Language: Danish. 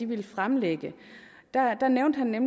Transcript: ville fremlægge han nævnte nemlig